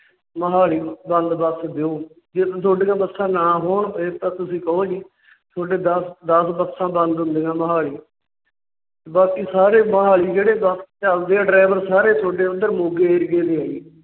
ਮੋਹਾਲੀ ਵੱਲ ਬੱਸ ਦਿਓ। ਜੇ ਤੇ ਤੁਹਾਡੀਆ ਬੱਸਾਂ ਨਾ ਹੋਣ ਫਿਰ ਤਾਂ ਤੁਸੀਂ ਕਹੋ ਜੀ। ਤੁਹਾਡੀਆਂ ਦੱਸ ਬੱਸਾਂ ਬੰਦ ਹੁੰਦੀਆਂ ਮੋਹਾਲੀ। ਬਾਕੀ ਸਾਰੇ ਮੋਹਾਲੀ ਜਿਹੜੇ ਬੱਸ ਚਲਦੇ ਹੈ driver ਉਹ ਜਲੰਧਰ, ਮੋਗੇ Area ਦੇ ਹੈ ਜੀ।